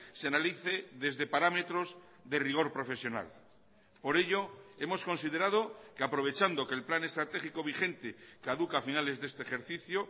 se analice desde parámetros de rigor profesional por ello hemos considerado que aprovechando que el plan estratégico vigente caduca a finales de este ejercicio